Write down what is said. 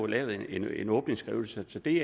lavet en åbningsskrivelse så det